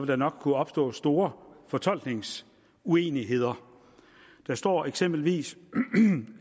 der nok kunne opstå store fortolkningsuenigheder der står eksempelvis